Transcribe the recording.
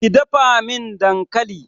Ki dafa min dankali!